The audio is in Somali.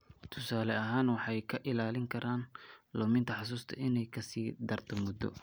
Tusaale ahaan, waxay ka ilaalin karaan luminta xusuusta inay ka sii darto muddo.